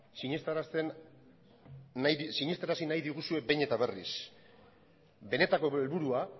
sinestarazi nahi diguzue behin eta berriz benetako helburua